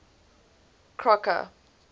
crocker